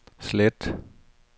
slet